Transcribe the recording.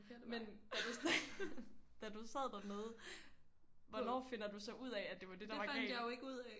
Men da du da du sad dernede hvornår finder du så ud af at det var det der var galt